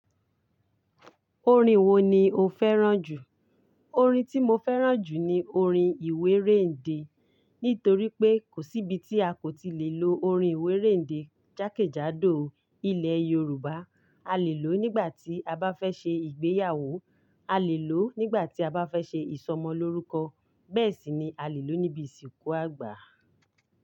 Orin wo ni o fẹ́ràn jù? Orin tí mo fẹ́ràn jù ni orin ìwé réǹde, nítorí pé kò sí ibi tí a kò ti lè lo orin ìwé réǹde jákèjádò ilẹ̀ Yorùbá. A lè lò ó nígbà tí a bá fẹ́ ṣe ìgbéyàwó, a lè lò ó nígbà tí a bá fẹ́ ṣe ìsọmọlórúkọ, bẹ́ẹ̀ sì ni a lè lò ó níbi ìsìnkú àgbà.